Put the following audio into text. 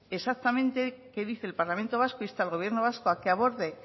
exactamente que dice el parlamento vasco insta al gobierno vasco a que aborde